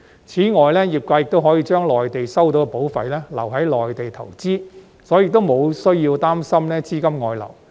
此外，業界可以將在內地收到的保費留在內地投資，所以沒有需要擔心資金外流。